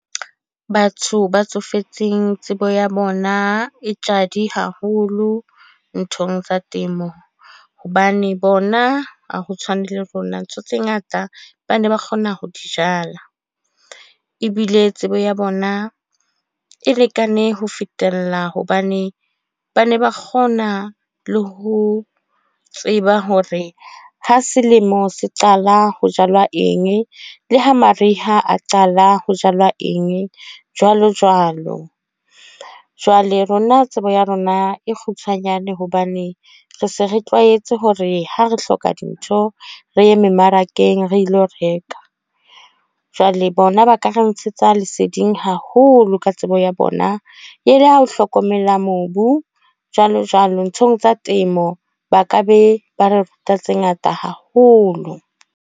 Batho ba tsofetseng tsebo ya bona e tjadi haholo nthong tsa temo. Hobane bona ha ho tshwane le rona, ntho tse ngata ba ne ba kgona ho di jala. Ebile tsebo ya bona e lekane ho fetella. Hobane ba ne ba kgona le ho tseba hore ha selemo se qala ho jalwa eng. Le ha mariha a qala ho jalwa eng, jwalo jwalo. Jwale rona tsebo ya rona e kgutshwanyane hobane re se re tlwaetse hore ha re hloka dintho, re ye mmarakeng re lo reka. Jwale bona ba ka ka re ntshetsa leseding haholo ka tsebo ya bona. E le ho hlokomela mobu, jwalo jwalo. Nthong tsa temo ba ka be ba re ruta tse ngata haholo.